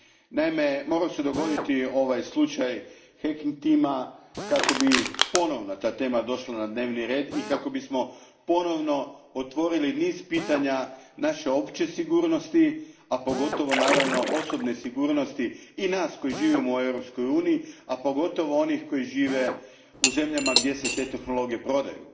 Naime, morao se dogoditi ovaj slučaj Hacking Team a kako bi ponovno ta tema došla na dnevni red i kako bismo ponovno otvorili niz pitanja naše opće sigurnosti, a pogotovo osobne sigurnosti, i nas koji živimo u Europskoj uniji, a pogotovo onih koji žive u zemljama gdje se te tehnologije prodaju.